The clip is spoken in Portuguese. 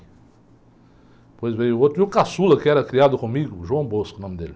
Depois veio o outro, e o caçula que era criado comigo, o nome dele.